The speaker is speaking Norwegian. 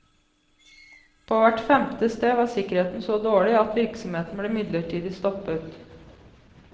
På hvert femte sted var sikkerheten så dårlig at virksomheten ble midlertidig stoppet.